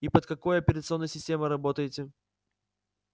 и под какой операционной системой работаете